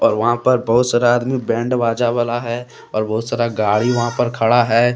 वहां पर बहुत सारा आदमी बैंड बाजा वाला है और बहुत सारा गाड़ी वहां पर खड़ा है।